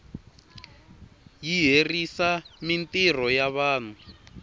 yi herisa mintirho ya vanhu